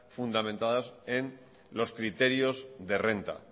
fundamentadas en los criterios de renta